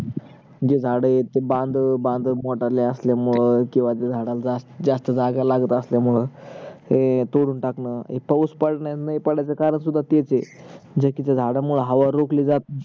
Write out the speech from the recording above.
जे झाड आहेत ते बांध बांध मोठाले असल्यामुळे किवा ज्या झाडाला जास्त जागा लागत असल्या मुळे ते तोडून टाकण हे पावूस पडण नाही पडायचं कारण पण तेच आहे